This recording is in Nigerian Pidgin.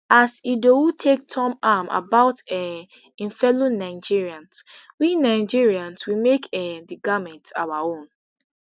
as idowu take tom am about um im fellow nigerians we nigerians we make um di garments our own